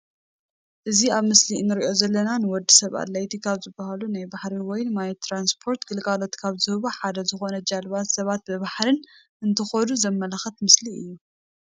እዚ ኣብ ምስሊ እንሪኦ ዘለና ንወድሰብ ኣድለይቲ ካብ ዝበሃሉ ናይ ባሕሪ ወይ ማይ ትራንስፖርት ግልጋሎት ካብ ዝህቡ ሓደ ዝኾነ ጀልባ ሰባት ብባሕሪ እንትኸዱ ዘመላኽት ምስሊ እዩ።